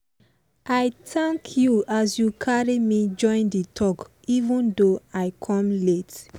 i thank you as you carry me join the talk even though i come late.